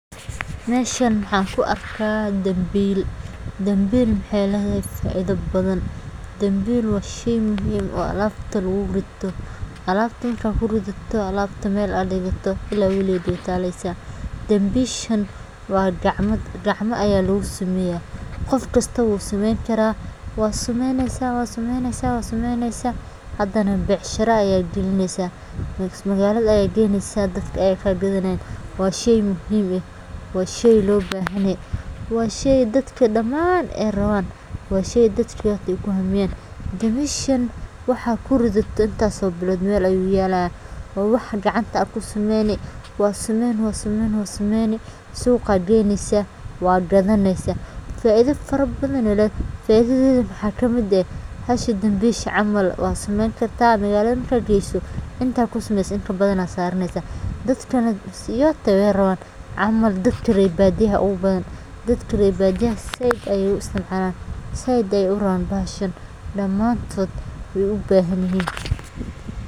Meshan maxan kuarka dambil, dambil waxay ledehe faida badan, dambil wa shey wen oo alabta lagurito, alabta marka kurodato, alabta mel aad digto ila waliged way taleysa, dambishan wa gacmo gacmo aya lagusameya, gofkasto wusameyn kara, wasameyneysa wasameyneysa, hadana becshira aya llgalineysa, bees mawalada qeyneysa dadka aya kaqadhanayan, wa shey muxiim eh, wa shey lobahanyaxay, wa shey dadka daan ay rawan, wa shey dadka ay kuhamiyan, dambishan wahat kuridato intas oo bilod mel ayu yalaya, wa wax gacnta aad kusameyni, wasameyn wasmeyni, suuga geyneysa, wa gadaneysa, faida farabadan ay leed, faidoyi waxa kamid eh, hashi dambishi camal wadh sameyn karta, magalad markat geyso inta kusameyse in kabadan aya saraneysa, dadkan way gadanayan, camal dadka rer badiyaha aya ogubadan, dadka rer badiyaha zaid ayay u isticmalan, zaid ayay urawan bahashan, damantod way ubahnyixin.